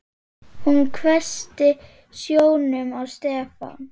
Hún hvessti sjónum á Stefán.